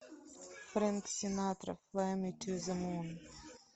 фрэнк синатра флай ми ту зе мун